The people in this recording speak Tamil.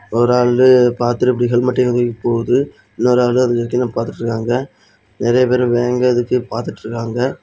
ஒரு ஆளு பாத்துட்டு இப்படி ஹெல்மெட் தூக்கி போகுது இன்னொரு ஆளு அதுக்கு கீழ பாத்துட்ருக்காங்க நெறய பேரு வேங்க எதுக்கி பாதுட்ருக்காங்க.